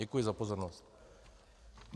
Děkuji za pozornost.